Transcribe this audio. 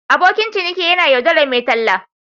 Abokin ciniki ya yaudari mai talla.